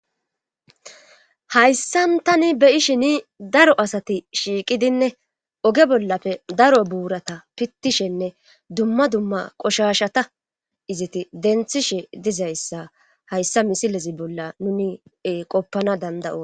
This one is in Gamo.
Hayssan tani be7ishini daro asati shiiqidinne oge bollafe daro buurata pittishenne dumma dumma qoshashata izeti denthishe dizayssa hayssa misilezi bolla nuni qoppana danda7o.